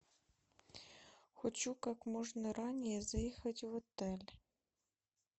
хочу как можно ранее заехать в отель